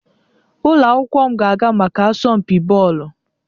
Ụlọ akwụkwọ m ga-aga maka asọmpi Bọọlụ.